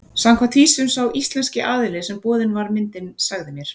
Samkvæmt því sem sá íslenski aðili sem boðin var myndin sagði mér.